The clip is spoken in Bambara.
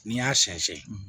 N'i y'a sɛnsɛn